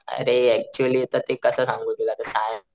अरे अक्चुअली आता ते कस सांगू तुला ते सायन्स,